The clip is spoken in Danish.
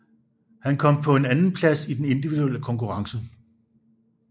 Han kom på en andenplads i den individuelle konkurrence